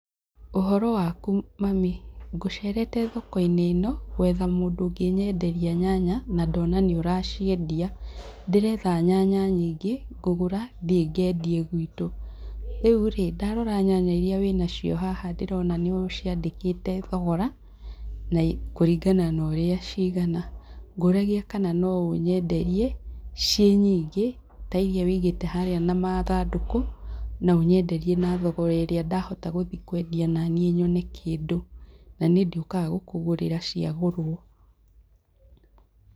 Ũhoro waku mami? Ngũcerete thoko-inĩ ĩno, gwetha mũndũ ũngĩnyenderia nyanya, na ndona nĩũraciendia. Ndĩretha nyanya nyingĩ ngũgũra thiĩ ngendie gwitũ. Rĩu rĩĩ ndarora nyanya iria wĩnacio haha ndĩrona nĩũ ciandĩkĩte thogora, kũringana na ũrĩa cigana, ngũragia kana no ũnyenderie ciĩ nyingĩ, ta iria wũigĩte harĩa na mathandũkũ na ũnyenderie na thogora ũrĩa ndahota gũthiĩ kwendia naniĩ nyone kĩndũ, na nĩ ndĩũkaga gũkũgũrĩra cia gũrwo.